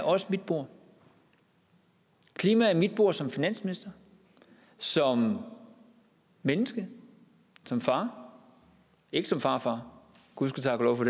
også mit bord klima er mit bord som finansminister som menneske som far ikke som farfar gud ske tak og lov for